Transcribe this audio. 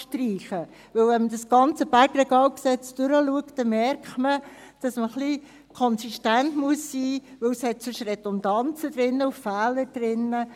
Sieht man das ganze BRG durch, so merkt man, dass man ein wenig konsistent sein muss, weil es sonst Redundanzen und Fehler enthält.